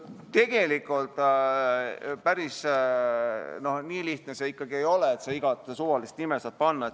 Tegelikult päris nii lihtne see ikkagi ei ole, et sa iga suvalist nime saad panna.